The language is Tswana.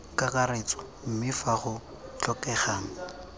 kakaretso mme fa go tlhokegang